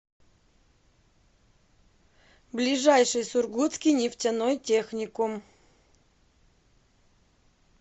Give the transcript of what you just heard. ближайший сургутский нефтяной техникум